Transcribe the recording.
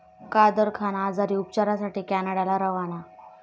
कादर खान आजारी, उपचारासाठी कॅनडाला रवाना